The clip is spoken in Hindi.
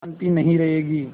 शान्ति नहीं रहेगी